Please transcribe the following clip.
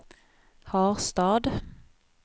Harstad